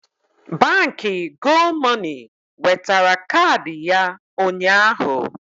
Baankị Gomoney wetara kaadị ya ụnyaahụ